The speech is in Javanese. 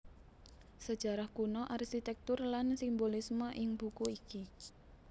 Sejarah kuno arsitektur lan simbolisme ing buku iki